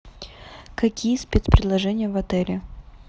какие спецпредложения в отеле